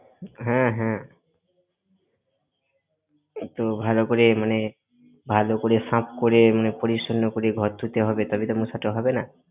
হ্যাঁ হ্যাঁ। একটু ভালো করে মানে, ভালো করে সাফ করে, মানে পরিচ্ছন্ন করে ঘর ধুতে হবে, তবেই তো মশাটা হবে না।